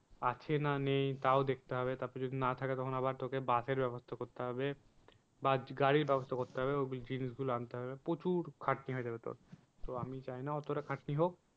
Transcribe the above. আছে না নেই তাও দেখতে হবে তারপর যদি না থাকে তখন আবার তোকে বাসের ব্যবস্থা করতে হবে। বা গাড়ির ব্যবস্থা করতে হবে জিনিস গুলো আনতে হবে প্রচুর খাটনি হয়ে যাবে তোর। তো আমি চাই না অতটা খাটনি হোক